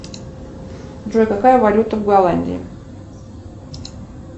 джой какая валюта в голландии